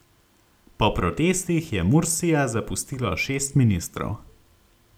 Po protestih je Mursija zapustilo šest ministrov.